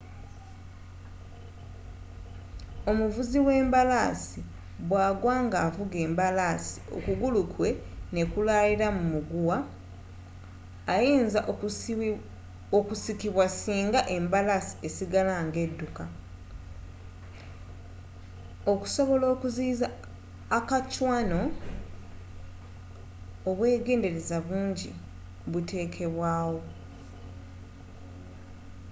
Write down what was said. omuvuzi w'embalaasi bwa gwa nga avuga embalaasi okugulu kwe nekulaalira mu muguwa ayinza okusikibwa singa embalaasi esigala nga edukka okusobola okuziyiiza a kacwano obwegenderaza bungi butekebwaa wo